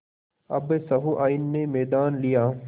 अब सहुआइन ने मैदान लिया